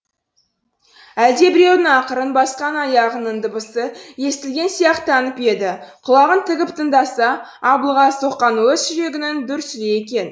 әлдебіреудің ақырын басқан аяғының дыбысы естілген сияқтанып еді құлағын тігіп тыңдаса аблыға соққан оз жүрегінің дүрсілі екен